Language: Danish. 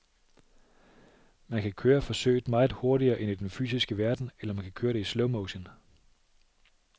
Man kan køre forsøget meget hurtigere end i den fysiske verden, eller man køre det i slowmotion.